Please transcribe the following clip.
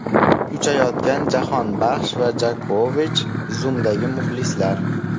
Uchayotgan Jahonbaxsh va Jokovich, Zoom’dagi muxlislar.